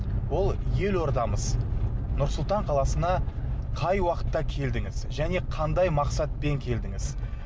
ол елордамыз нұр сұлтан қаласына қай уақытта келдіңіз және қандай мақсатпен келдіңіз